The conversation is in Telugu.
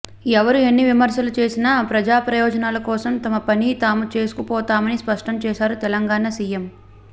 ఎవరు ఎన్ని విమర్శలు చేసినా ప్రజాప్రయోజనాల కోసం తమ పని తాము చేసుకుపోతామని స్పష్టంచేశారు తెలంగాణ సీఎం